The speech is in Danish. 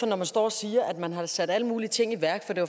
når man står og siger at man har sat alle mulige ting i værk for det